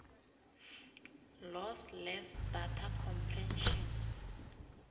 lossless data compression